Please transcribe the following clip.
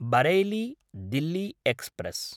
Bareilly Delhi express